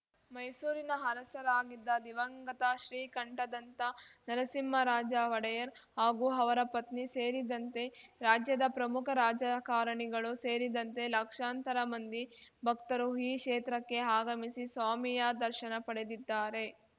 ಮೈಸೂರಿನ ಅರಸರಾಗಿದ್ದ ದಿವಂಗತ ಶ್ರೀಕಂಠದಂತ್ತ ನರಸಿಂಹರಾಜ ಒಡೆಯರ್ ಹಾಗೂ ಅವರ ಪತ್ನಿ ಸೇರಿದಂತೆ ರಾಜ್ಯದ ಪ್ರಮುಖ ರಾಜಕಾರಣಿಗಳು ಸೇರಿದಂತೆ ಲಕ್ಷಾಂತರ ಮಂದಿ ಭಕ್ತರು ಈ ಕ್ಷೇತ್ರಕ್ಕೆ ಆಗಮಿಸಿ ಸ್ವಾಮಿಯ ದರ್ಶನ ಪಡೆದಿದ್ದಾರೆ